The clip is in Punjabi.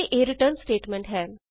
ਅਤੇ ਇਹ ਰਿਟਰਨ ਸਟੇਟਮੈਂਟ ਹੈ